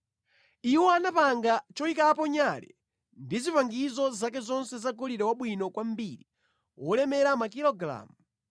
Iwo anapanga choyikapo nyale ndi zipangizo zake zonse zagolide wabwino kwambiri wolemera makilogalamu 34.